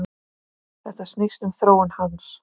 Þetta snýst um þróun hans.